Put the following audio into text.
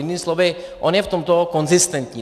Jinými slovy, on je v tomto konzistentní.